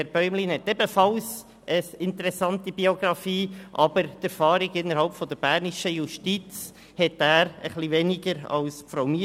Herr Bäumlin hat ebenfalls eine interessante Biografie, aber er hat etwas weniger Erfahrung innerhalb der bernischen Justiz als Frau Miescher.